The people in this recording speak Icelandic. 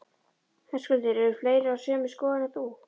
Höskuldur: Eru fleiri á sömu skoðun og þú?